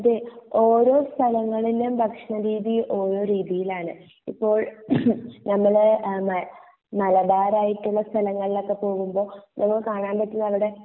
ഓരോ സലങ്ങളിലും ഭക്ഷണ രീതി ഓരോ രീതിയിൽ ആണ് ഇപ്പോൾ എംകെ നമ്മളെ അ മേ മലബാർ ആയിട്ട് ഉള്ള സ്ഥലങ്ങൾ ഒക്കെ പോവുമ്പോൾ നമ്മള് കാണാൻ പറ്റുന്ന അവിടെ